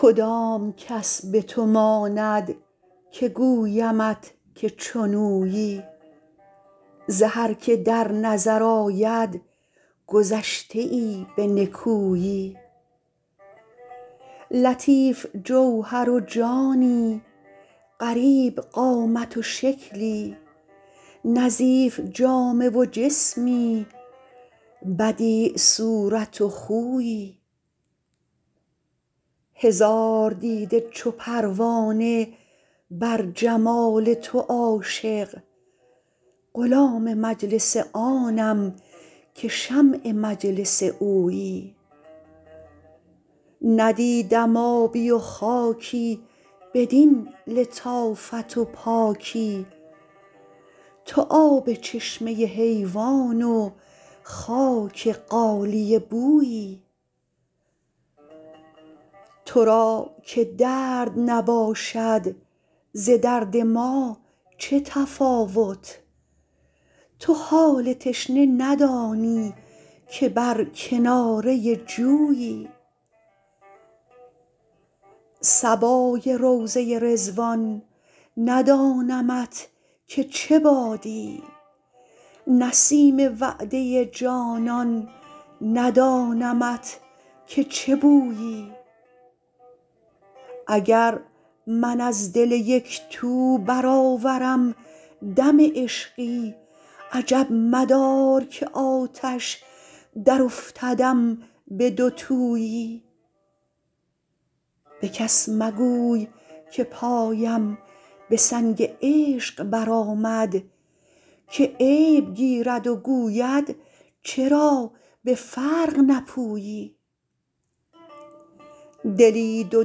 کدام کس به تو ماند که گویمت که چون اویی ز هر که در نظر آید گذشته ای به نکویی لطیف جوهر و جانی غریب قامت و شکلی نظیف جامه و جسمی بدیع صورت و خویی هزار دیده چو پروانه بر جمال تو عاشق غلام مجلس آنم که شمع مجلس اویی ندیدم آبی و خاکی بدین لطافت و پاکی تو آب چشمه حیوان و خاک غالیه بویی تو را که درد نباشد ز درد ما چه تفاوت تو حال تشنه ندانی که بر کناره جویی صبای روضه رضوان ندانمت که چه بادی نسیم وعده جانان ندانمت که چه بویی اگر من از دل یک تو برآورم دم عشقی عجب مدار که آتش درافتدم به دوتویی به کس مگوی که پایم به سنگ عشق برآمد که عیب گیرد و گوید چرا به فرق نپویی دلی دو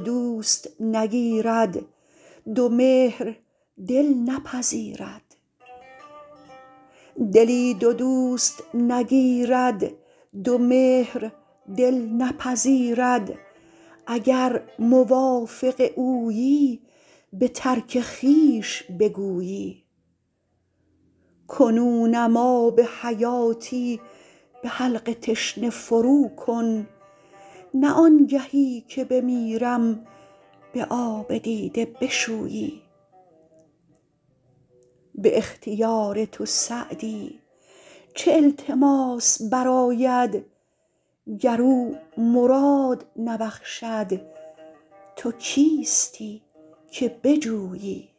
دوست نگیرد دو مهر دل نپذیرد اگر موافق اویی به ترک خویش بگویی کنونم آب حیاتی به حلق تشنه فروکن نه آنگهی که بمیرم به آب دیده بشویی به اختیار تو سعدی چه التماس برآید گر او مراد نبخشد تو کیستی که بجویی